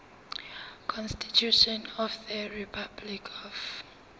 constitution of the republic of